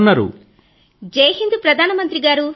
Tarannum Khan lady జైహింద్ ప్రధాన మంత్రి గారూ